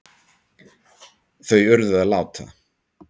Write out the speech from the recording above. Þau urðu að láta